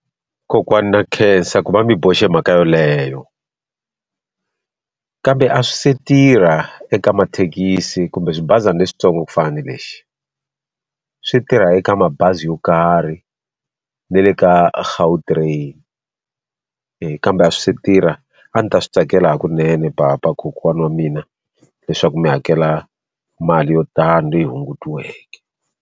Kokwana na khensa ku va mi boxe mhaka yoleyo kambe a swi se tirha eka mathekisi kumbe swi bazana leswitsongo ku fana ni lexi swi tirha eka mabazi yo karhi na le ka Gautrain kambe a swi se tirha a ni ta swi tsakela hakunene papa kokwana wa mina leswaku mi hakela mali yo tani leyi hungutiwaka.